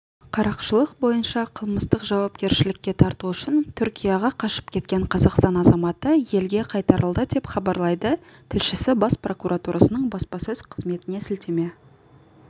қарақшылық бойынша қылмыстық жауапкершілікке тарту үшін түркияға қашып кеткен қазақстан азаматы елге қайтарылды деп хабарлайды тілшісі бас прокуратурасының баспасөз қызметіне сілтеме